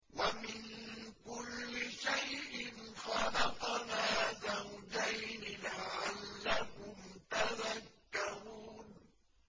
وَمِن كُلِّ شَيْءٍ خَلَقْنَا زَوْجَيْنِ لَعَلَّكُمْ تَذَكَّرُونَ